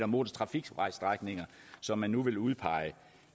motortrafikvejsstrækninger som man nu vil udpege